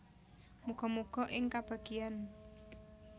Muga muga ing kabagyan